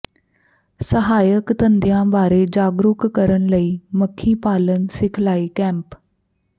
ਸਹਾਇਕ ਧੰਦਿਆਂ ਬਾਰੇ ਜਾਗਰੂਕ ਕਰਨ ਲਈ ਮੱਖੀ ਪਾਲਣ ਸਿਖਲਾਈ ਕੈਂਪ